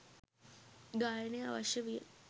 ගායනය අවශ්‍ය විය